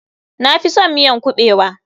Na fison miyan kuɓewa.